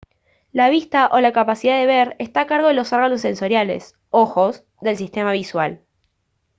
la vista o la capacidad de ver está a cargo de los órganos sensoriales ojos del sistema visual